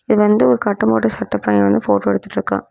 இது வந்து ஒரு கட்டம் போட்ட சட்ட பைய வந்து ஃபோட்டோ எடுத்துட்டுருக்கா.